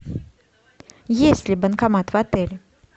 есть ли банкомат в отеле